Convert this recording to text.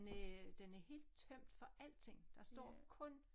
Næ den er helt tømt for alting der står kun